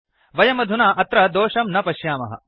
वयमधुना अत्र दोषं न पश्यामः